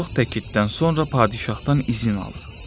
Çox təkidən sonra padişahdan izin alır.